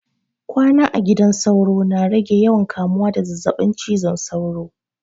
Kwana a gidan sauro na rage yawan kamuwa da zazzabin cizon sauro.